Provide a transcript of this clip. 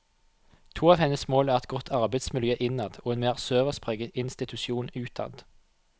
To av hennes mål er et godt arbeidsmiljø innad og en mer servicepreget institusjon utad.